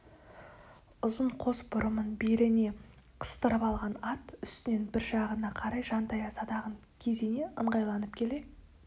ұзын қос бұрымын беліне қыстырып алған ат үстінен бір жағына қарай жантая садағын кезене ыңғайланып келе